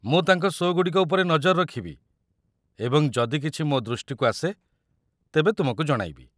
ମୁଁ ତାଙ୍କ ଶୋ' ଗୁଡ଼ିକ ଉପରେ ନଜର ରଖିବି ଏବଂ ଯଦି କିଛି ମୋ ଦୃଷ୍ଟିକୁ ଆସେ, ତେବେ ତୁମକୁ ଜଣାଇବି।